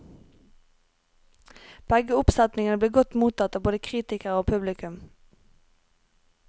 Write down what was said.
Begge oppsetningene ble godt mottatt av både kritikere og publikum.